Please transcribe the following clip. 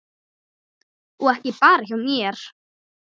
Og ekki bara hjá mér.